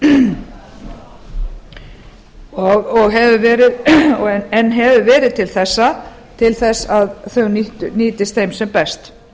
reikningsskilastofnana fyrr á árinu en hefur verið til þess til að þau nýttust þeim sem best